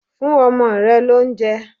Fún ọmọ rẹ l'óunjẹ